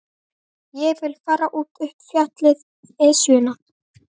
Ég vil fara út upp á fjallið, Esjuna.